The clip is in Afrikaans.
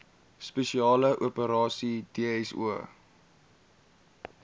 spesiale operasies dso